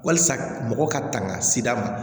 Walisa mɔgɔw ka tanga seg'a ma